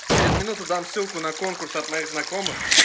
через минуту дам ссылку на конкурс от моих знакомых